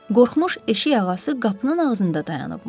Qorxmuş eşik ağası qapının ağzında dayanıbmış.